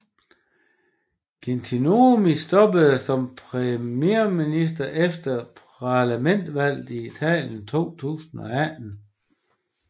Gentiloni stoppede som premierminister efter Parlamentsvalget i Italien 2018